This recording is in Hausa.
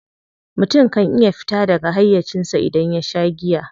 Mutum kan iya fita daga hayyacinsa idan ya sha giya.